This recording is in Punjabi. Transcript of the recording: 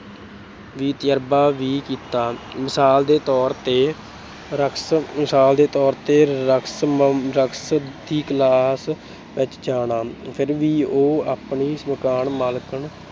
ਤਜਰਬਾ ਵੀ ਕੀਤਾ। ਮਿਸਾਲ ਦੇ ਤੌਰ ਤੇ - ਰਕਸ, ਮਿਸਾਲ ਦੇ ਤੌਰ ਤੇ ਰਕਸ ਅਹ ਰਕਸ ਦੀ class ਵਿੱਚ ਜਾਣਾ - ਫਿਰ ਵੀ ਉਹ ਆਪਣੀ ਮਕਾਨ ਮਾਲਕਣ